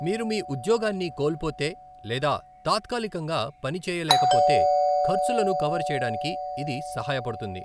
మీరు మీ ఉద్యోగాన్ని కోల్పోతే లేదా తాత్కాలికంగా పని చేయలేకపోతే ఖర్చులను కవర్ చేయడానికి ఇది సహాయపడుతుంది.